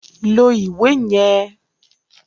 Lo iwe yẹn!